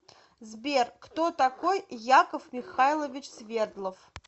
сбер кто такой яков михайлович свердлов